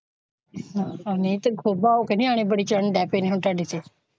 ਨਹੀਂ ਤੇ ਖੁਬਾ ਹੋ ਕੇ ਨਿਆਣੇ ਬੜੇ ਚੰਟ ਹੈ ਪਿੰਡ ਵਿੱਚ ਤੁਹਾਡੇ ਤੇ।